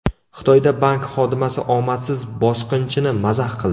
Xitoyda bank xodimasi omadsiz bosqinchini mazax qildi.